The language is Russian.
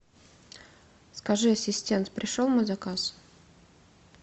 скажи ассистент пришел мой заказ